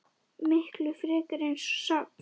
Miklu frekar eins og safn.